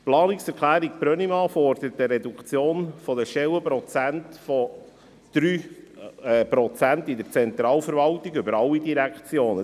Die Planungserklärung Brönnimann fordert eine Reduktion von 3 Stellenprozenten in der Zentralverwaltung über alle Direktionen.